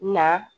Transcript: Na